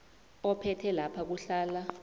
ophethe lapha kuhlala